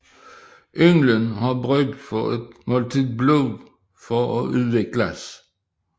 Ynglen har brug for et måltid blod for at udvikles